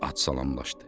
At salamlaşdı.